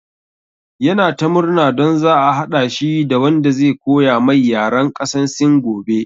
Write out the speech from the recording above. Ya na ta murna don za a haɗa shi da wanda zai koya mai yaran ƙasan sin gobe